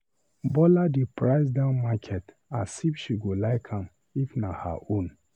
Bola dey price down market as if she go like am if na her own.